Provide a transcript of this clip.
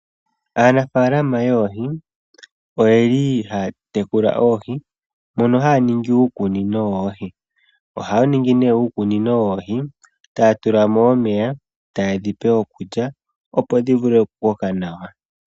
Aanafalama yoohi oyeli hayatekula oohi, mono hayaningi uukunino woohi. Ohayaningi ne uukunino woohi taatulamo omeya, tayedhipe okulya opo dhivule okukoka nawa.